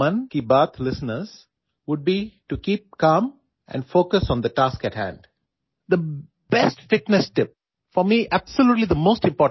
تمام 'من کی بات' سننے والوں کے لیے میری فٹنس ٹپ یہ ہوگی کہ وہ پرسکون رہیں اور آگے کے کام پر توجہ دیں